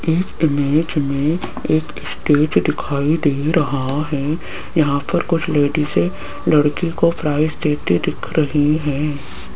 इस इमेज में एक स्टेज दिखाई दे रहा है यहां पर कुछ लेडीजें लड़की को प्राइस देते दिख रही है।